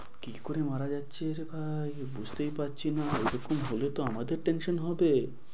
কি করে মারা যাচ্ছে রে ভাই বুঝতেই পারছি না, এরকম হলে তো আমাদের tension হবে।